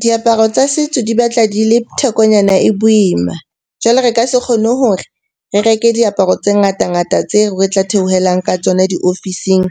Diaparo tsa setso di batla di le thekonyana e boima. Jwale re ka se kgone hore re reke diaparo tse ngata-ngata tseo re tla theohelang ka tsona diofising